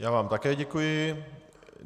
Já vám také děkuji.